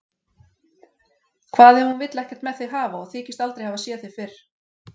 Hvað ef hún vill ekkert með þig hafa og þykist aldrei hafa séð þig fyrr?